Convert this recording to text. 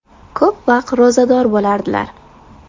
Ko‘p vaqt ro‘zador bo‘lardilar.